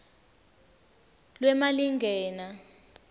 lwemalingena